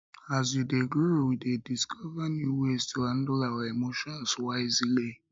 as we dey grow we dey discover new ways to handle our emotions wisely